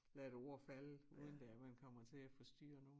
Lade et ord falde uden det er man kommer til at forstyrre nogen